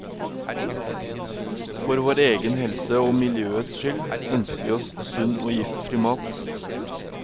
For vår egen helse og miljøets skyld, ønsker vi oss sunn og giftfri mat.